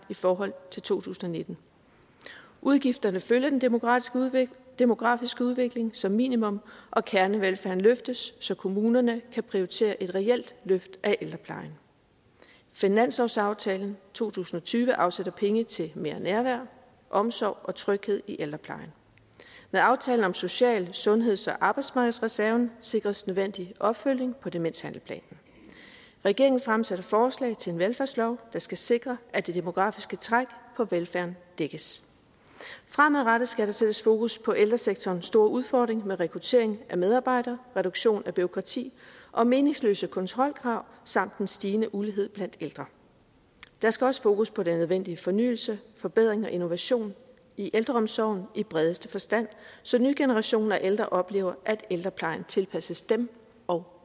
i forhold til to tusind og nitten udgifterne følger den demografiske udvikling demografiske udvikling som minimum og kernevelfærden løftes så kommunerne kan prioritere et reelt løft af ældreplejen finanslovsaftalen to tusind og tyve afsætter penge til mere nærvær omsorg og tryghed i ældreplejen med aftalen om social sundheds og arbejdsmarkedsreserven sikres nødvendig opfølgning på demenshandlingsplanen regeringen fremsætter forslag til en velfærdslov der skal sikre at det demografiske træk på velfærden dækkes fremadrettet skal der sættes fokus på ældresektorens store udfordring med rekruttering af medarbejdere reduktion af bureaukrati og meningsløse kontrolkrav samt den stigende ulighed blandt ældre der skal også fokus på den nødvendige fornyelse forbedring og innovation i ældreomsorgen i bredeste forstand så nye generationer af ældre oplever at ældreplejen tilpasses dem og